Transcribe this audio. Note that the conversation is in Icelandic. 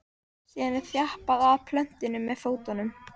síðan er þjappað að plöntunni með fótum